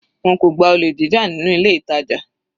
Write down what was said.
Wọn kò gba olè jíjà nínú ilé ìtàjà.